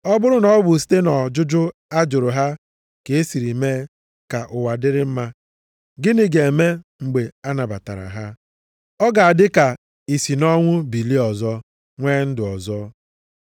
Ọ bụrụ na ọ bụ site nʼọjụjụ a jụrụ ha ka e siri mee ka ụwa dịrị na mma, gịnị ga-eme mgbe a nabatara ha? Ọ ga-adị ka i si nʼọnwụ bilie ọzọ, nwee ndụ ọzọ.